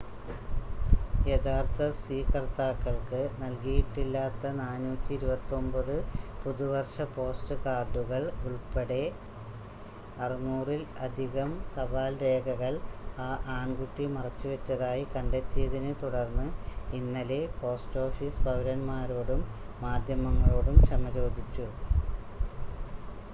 യഥാർത്ഥ സ്വീകർത്താക്കൾക്ക് നൽകിയിട്ടില്ലാത്ത 429 പുതുവർഷ പോസ്റ്റ് കാർഡുകൾ ഉൾപ്പടെ 600-ൽ അധികം തപാൽ രേഖകൾ ആ ആൺകുട്ടി മറച്ചുവെച്ചതായി കണ്ടെത്തിയതിനെ തുടർന്ന് ഇന്നലെ പോസ്റ്റ് ഓഫീസ് പൗരൻമാരോടും മാധ്യമങ്ങളോടും ക്ഷമ ചോദിച്ചു